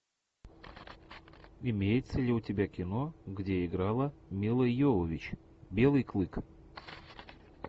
имеется ли у тебя кино где играла мила йовович белый клык